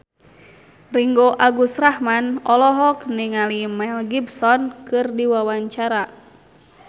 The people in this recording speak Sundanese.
Ringgo Agus Rahman olohok ningali Mel Gibson keur diwawancara